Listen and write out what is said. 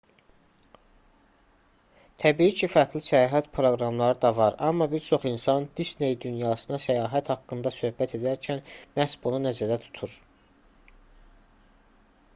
təbii ki fərqli səyahət proqramları da var amma bir çox insan disney dünyasına səyahət haqqında söhbət edərkən məhz bunu nəzərdə tutur